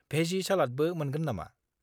भेजि सालादबो मोनगोन नामा?